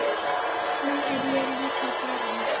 Nú er ég líka farinn.